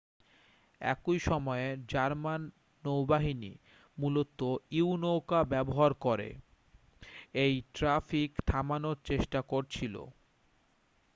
একই সময়ে জার্মান নৌবাহিনী মূলত ইউ-নৌকা ব্যবহার করে এই ট্র্যাফিক থামানোর চেষ্টা করছিল